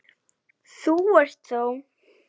Þú ert þá?